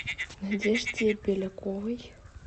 надежде беляковой